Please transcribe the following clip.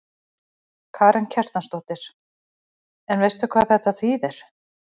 Karen Kjartansdóttir: En veistu hvað þetta þýðir?